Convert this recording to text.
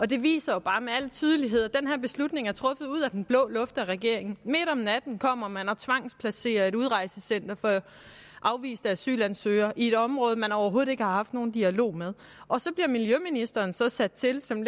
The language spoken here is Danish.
det viser bare med al tydelighed at den her beslutning er truffet ud af den blå luft af regeringen midt om natten kommer man og tvangsplacerer et udrejsecenter for afviste asylansøgere i et område man overhovedet ikke har haft nogen dialog med og så bliver miljøministeren sat til lidt som